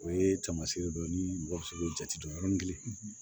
O ye tamasiyɛ dɔ ye ni mɔgɔ sugu ja tɛ don yɔrɔ ni